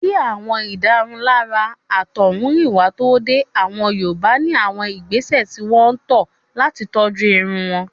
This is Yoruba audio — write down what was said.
Kí àwọn ìdárunlárà àtọ̀húnrìnwá tó dé. Àwọn Yorùbá ní àwọn ìgbésẹ̀ tí wọ́n tọ́ ọ̀ làti tọ́jú irun wọn.